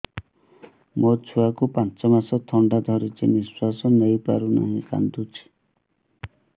ମୋ ଛୁଆକୁ ପାଞ୍ଚ ମାସ ଥଣ୍ଡା ଧରିଛି ନିଶ୍ୱାସ ନେଇ ପାରୁ ନାହିଁ କାଂଦୁଛି